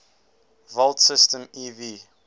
volt symbol ev